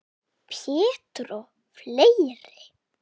Pétur og fleiri.